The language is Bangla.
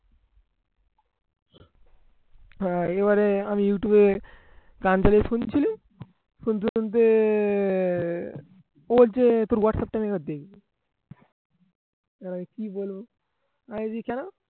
আহ এবারে আমি ইউটিউব এ গান চালিয়ে শুনছিলুম শুনতে শুনতে আহ ও বলছে তোর whats app টা আমি এবার কি কেন